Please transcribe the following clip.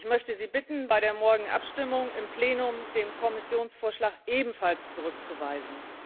Ich möchte Sie bitten, bei der morgigen Abstimmung im Plenum den Kommissionsvorschlag ebenfalls zurückzuweisen.